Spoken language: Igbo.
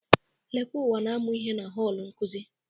Lekwauwa na-amụ ihe na họl nkuzi.